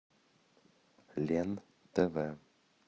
лен тв